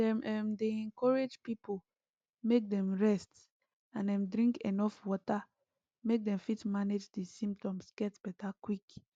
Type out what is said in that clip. dem um dey encourage pipo make dem rest and um drink enuf water make dem fit manage di symptoms get beta quick